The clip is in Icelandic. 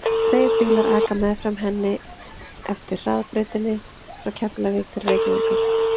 Tveir bílar aka meðfram henni eftir hraðbrautinni frá Keflavík til Reykjavíkur.